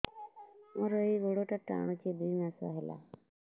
ମୋର ଏଇ ଗୋଡ଼ଟା ଟାଣୁଛି ଦୁଇ ମାସ ହେଲା